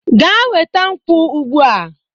Gaa weta nkwu ugbua